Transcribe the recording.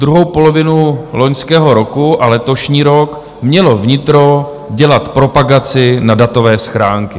Druhou polovinu loňského roku a letošní rok mělo vnitro dělat propagaci na datové schránky.